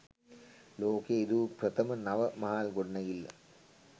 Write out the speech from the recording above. ලෝකයේ ඉදි වූ ප්‍රථම නව මහල් ගොඩනැඟිල්ල